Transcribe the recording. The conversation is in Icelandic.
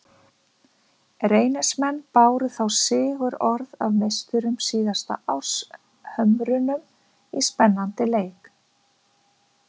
Reynismenn báru þá sigurorð af meisturum síðasta árs, Hömrunum, í spennandi leik.